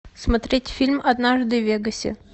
смотреть фильм однажды в вегасе